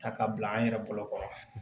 Ta ka bila an yɛrɛ bolokɔrɔ